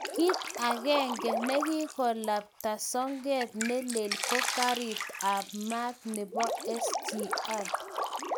Kit agenge nekikoklabta soket nelel ko karit aba maat nebo SGR